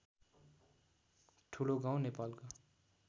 ठुलोगाउँ नेपालको